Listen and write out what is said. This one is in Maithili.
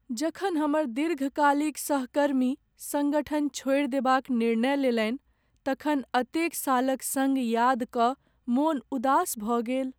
जखन हमर दीर्घकालिक सहकर्मी संगठन छोड़ि देबाक निर्णय लेलनि तखन एतेक सालक सङ्ग याद कय मन उदास भऽ गेल।